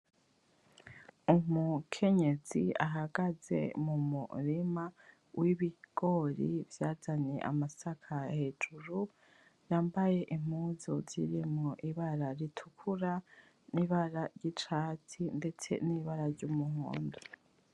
Umukenyezi ahagaze mu murima w'ibigori vyazanye amasaka hejuru, yambaye impuzu zirimwo ibara ritukura n'ibara ry'icatsi ndetse n'ibara ry'umuhondo.